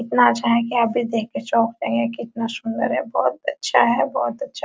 इतना अच्छा है की आप भी देख कर चौंक रहे है कितना सुंदर है बहोत अच्छा है बहोत अच्छा।